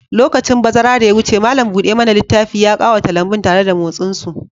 Lokacin bazara da ya wuce, malam buɗe mana littafi ya ƙawata lambun tare da motsin su.